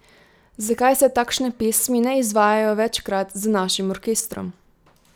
Zakaj se takšne pesmi ne izvajajo večkrat z našim orkestrom?